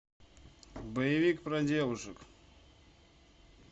боевик про девушек